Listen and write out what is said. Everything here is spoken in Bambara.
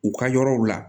U ka yɔrɔw la